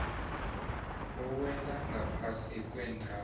ewela ngaphasi kwendawo